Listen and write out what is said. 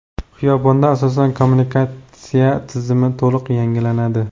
Xiyobonda asosan kommunikatsiya tizimi to‘liq yangilanadi.